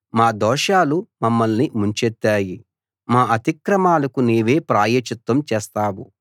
మా దోషాలు మమ్మల్ని ముంచెత్తాయి మా అతిక్రమాలకు నీవే ప్రాయశ్చిత్తం చేస్తావు